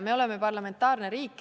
Me oleme parlamentaarne riik.